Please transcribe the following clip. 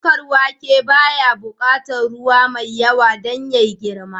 Shuka wake baya buƙatar ruwa mai yawa don yayi girma